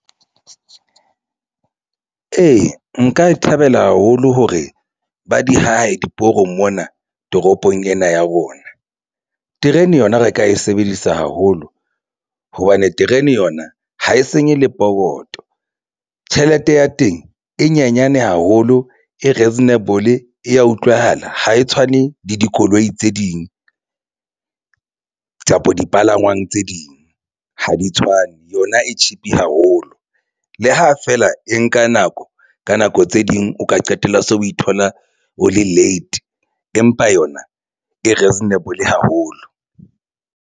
Ee, nka e thabela haholo hore ba di ahe diporong mona toropong ena ya rona. Terene yona re ka e sebedisa haholo hobane terene yona ha e senye le pokoto. Tjhelete ya teng e nyenyane haholo e reasonable e ya utlwahala ha e tshwane le dikoloi tse ding kapa dipalangwang tse ding ha di tshwane. Yona e cheap haholo. Le ha feela e nka nako ka nako tse ding o ka qetella so o ithola o le late empa yona e reasonable haholo.